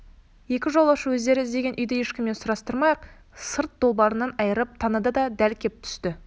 екі жолаушы өздері іздеген үйді ешкімнен сұрастырмай-ақ сырт долбарынан айырып таныды да дәл кеп түсті